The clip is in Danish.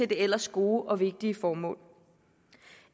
ellers gode og vigtige formål